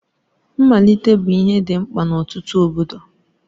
Mmalite bụ ihe dị mkpa n'ọtụtụ obodo.